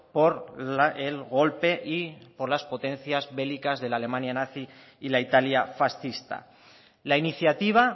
por el golpe y por las potencias bélicas de la alemania nazi y la italia fascista la iniciativa